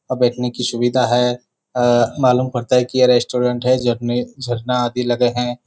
यहाँ बैठने की सुविधा है अ मालूम पड़ता है कि यह रेस्टोरेंट है झरने झरना आदि लगे हैं।